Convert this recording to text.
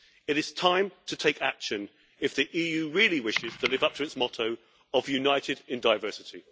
It is time to take action if the EU really wishes to live up to its motto of United in Diversity'.